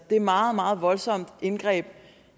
et meget meget voldsomt indgreb